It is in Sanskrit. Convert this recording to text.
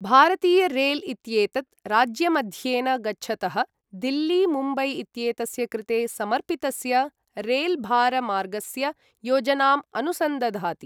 भारतीयरेल् इत्येतद् राज्यमध्येन गच्छतः दिल्ली मुम्बई इत्येतस्य कृते समर्पितस्य रेल भार मार्गस्य योजनाम् अनुसन्दधाति।